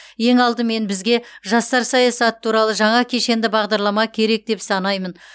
ең алдымен бізге жастар саясаты туралы жаңа кешенді бағдарлама керек деп санаймын